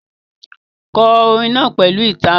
Kọ orin náà pẹ̀lú ìtara.